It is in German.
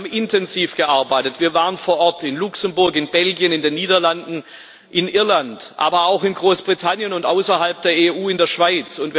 Wie haben intensiv gearbeitet. Wir waren vor Ort in Luxemburg, in Belgien, in den Niederlanden, in Irland, aber auch in Großbritannien und außerhalb der EU in der Schweiz.